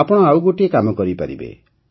ଆପଣ ଆଉ ଗୋଟିଏ କାମ କରିପାରିବେ